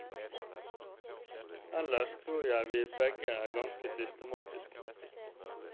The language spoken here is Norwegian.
Ellers tror jeg vi begge er ganske systematiske.